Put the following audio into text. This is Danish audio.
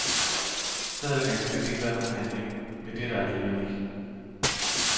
Så havde der ganske vist ikke været nogen handling, men det er der alligevel ikke.